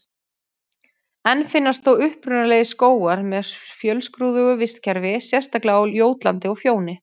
Enn finnast þó upprunalegir skógar með fjölskrúðugu vistkerfi, sérstaklega á Jótlandi og Fjóni.